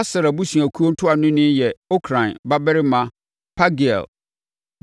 Aser abusuakuo ntuanoni yɛ Okran babarima Pagiel;